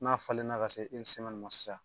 N'a falenna ka se ma sisan